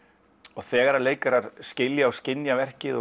og þegar leikarar skilja og skynja verkið